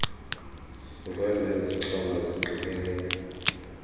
zokwenza ezichonga ziqikelele